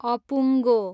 अपुङ्गो